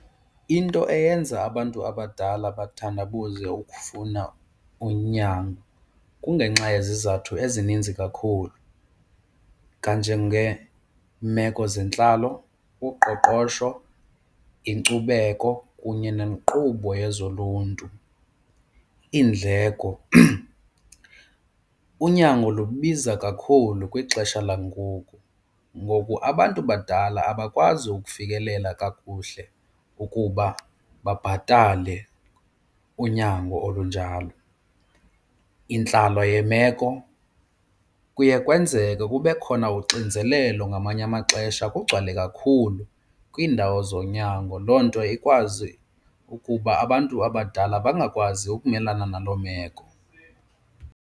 Into eyenza abantu abadala bathandabuze ukufuna unyango kungenxa yezizathu ezininzi kakhulu kanjengeemeko zentlalo, uqoqosho, inkcubeko kunye nenkqubo yezoluntu, iindleko. Unyango lubiza kakhulu kwixesha langoku, ngoku abantu badala abakwazi ukufikelela kakuhle kuba babhatale unyango olunjalo. Intlalo yemeko, kuye kwenzeke kube khona uxinzelelo ngamanye amaxesha kugcwale kakhulu kwiindawo zonyango, loo nto ikwazi ukuba abantu abadala bangakwazi ukumelana nalo meko.